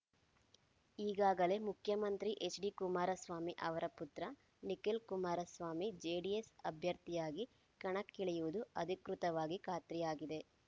ಈಗಾಗಲೇ ಮುಖ್ಯಮಂತ್ರಿ ಹೆಚ್ಡಿ ಕುಮಾರಸ್ವಾಮಿ ಅವರ ಪುತ್ರ ನಿಖಿಲ್ ಕುಮಾರಸ್ವಾಮಿ ಜೆಡಿಎಸ್ ಅಭ್ಯರ್ಥಿಯಾಗಿ ಕಣಕ್ಕಿಳಿಯುವುದು ಅಧಿಕೃತವಾಗಿ ಖಾತ್ರಿಯಾಗಿದೆ